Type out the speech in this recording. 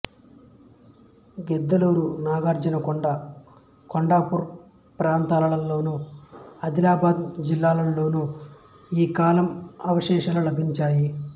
గిద్దలూరు నాగార్జునకొండ కొండాపూర్ ప్రాంతాలలోను అదిలాబాద్ జిల్లాలోను ఈ కాలం అవశేషాలు లభించాయి